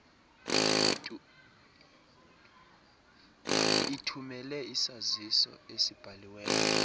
ithumele isaziso esibhaliweyo